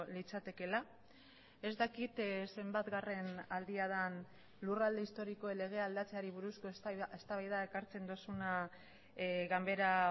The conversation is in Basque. litzatekeela ez dakit zenbatgarren aldia den lurralde historikoen legea aldatzeari buruzko eztabaida ekartzen duzuna ganbera